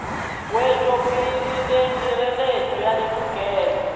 wetšopele le hireletšo ya ditokelo